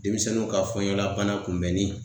Denmisɛnninw ka fɔɲɔgɔn labana kunbɛnni